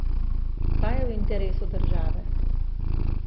Kaj je v interesu države?